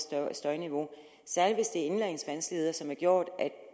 støjniveau særligt hvis indlæringsvanskeligheder som har gjort at